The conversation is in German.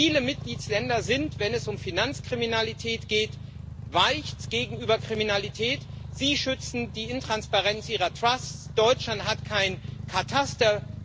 Viele Mitgliedstaaten sind, wenn es um Finanzkriminalität geht, weich gegenüber Kriminalität, sie schützen die Intransparenz ihrer Trusts, Deutschland hat kein Kataster.